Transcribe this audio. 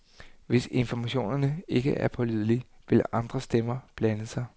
Hvis informationerne ikke er pålidelige, vil andre stemmer blande sig.